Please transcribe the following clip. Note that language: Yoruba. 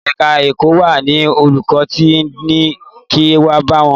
Ẹ̀ka ẹ̀kọ́ wa ni olùkọ́ ti ni kin wá bá àwọn.